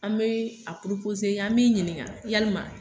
An bɛ a an b'i ɲininga yalima